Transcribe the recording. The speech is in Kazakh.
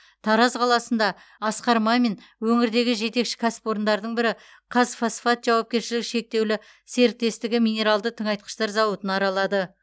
тараз қаласында асқар мамин өңірдегі жетекші кәсіпорындардың бірі қазфосфат жауапкершілігі шектеулі серіктестігі минералды тыңайтқыштар зауытын аралады